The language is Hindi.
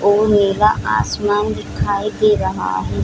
और नीला आसमान दिखाई दे रहा है।